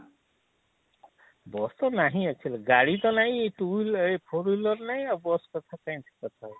ବସ ତ ନାଇଁ actually ଗାଡି ତ ନାହିଁ two four wheeler ନାଇଁ ଆଉ ବସ କଥା କାଇଁ ଏଠି କଥା ହଉଛେ?